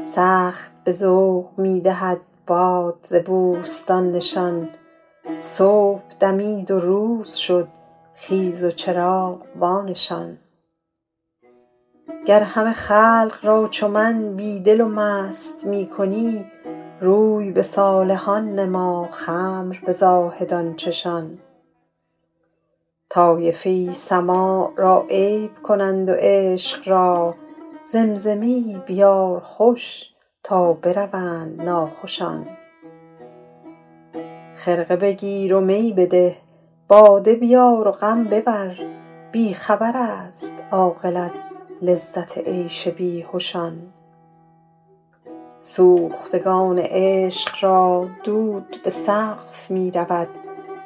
سخت به ذوق می دهد باد ز بوستان نشان صبح دمید و روز شد خیز و چراغ وانشان گر همه خلق را چو من بی دل و مست می کنی روی به صالحان نما خمر به زاهدان چشان طایفه ای سماع را عیب کنند و عشق را زمزمه ای بیار خوش تا بروند ناخوشان خرقه بگیر و می بده باده بیار و غم ببر بی خبر است عاقل از لذت عیش بیهشان سوختگان عشق را دود به سقف می رود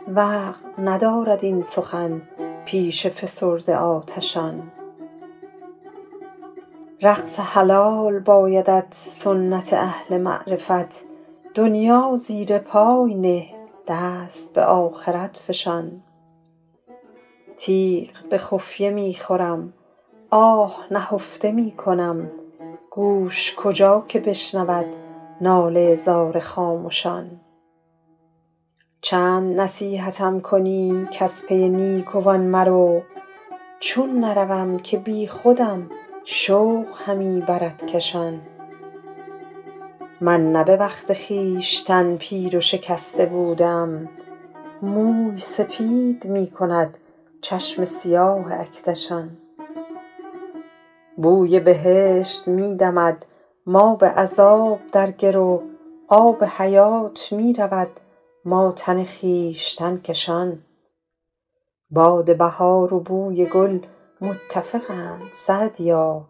وقع ندارد این سخن پیش فسرده آتشان رقص حلال بایدت سنت اهل معرفت دنیا زیر پای نه دست به آخرت فشان تیغ به خفیه می خورم آه نهفته می کنم گوش کجا که بشنود ناله زار خامشان چند نصیحتم کنی کز پی نیکوان مرو چون نروم که بیخودم شوق همی برد کشان من نه به وقت خویشتن پیر و شکسته بوده ام موی سپید می کند چشم سیاه اکدشان بوی بهشت می دمد ما به عذاب در گرو آب حیات می رود ما تن خویشتن کشان باد بهار و بوی گل متفقند سعدیا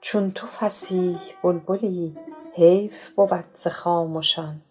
چون تو فصیح بلبلی حیف بود ز خامشان